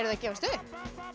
að gefast upp